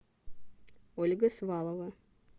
ольга свалова